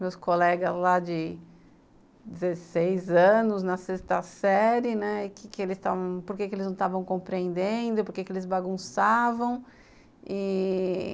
meus colegas lá de dezesseis anos, na sexta série, né, que que eles, porque eles não estavam compreendendo, porque eles bagunçavam e